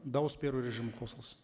дауыс беру режимі қосылсын